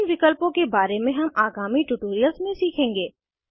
इन विकल्पों के बारे में हम आगामी ट्यूटोरियल्स में सीखेंगे